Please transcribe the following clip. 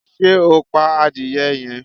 Ṣe o pa adiye yẹn?